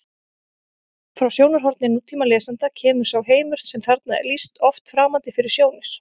Frá sjónarhorni nútímalesanda kemur sá heimur sem þarna er lýst oft framandi fyrir sjónir: